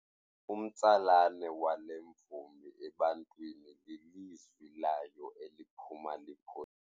Umtsalane wale mvumi ebantwini lilizwi layo eliphuma.